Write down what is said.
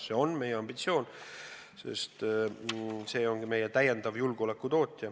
See on meie ambitsioon, sest see ongi meie täiendav julgeoleku tootja.